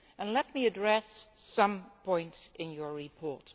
Let me address some points in the report.